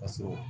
Ka sɔrɔ